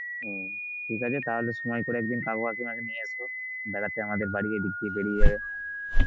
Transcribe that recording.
হম ঠিক আছে তাহলে সময় করে একদিন কাকু কাকিমা কে নিয়ে এসো বেড়াতে আমাদের বাড়ি এদিক দিয়ে বেড়িয়ে যাবে.